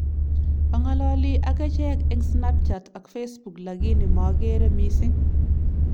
Angalali ak echeek eng snapchat ak facebook lakini mageere missing